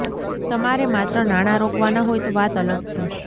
તમારે માત્ર નાણાં રોકવાનાં હોય તો વાત અલગ છે